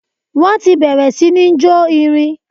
Wọ́n ti bẹ̀rẹ̀ sí ní jó irin.